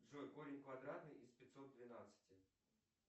джой корень квадратный из пятьсот двенадцати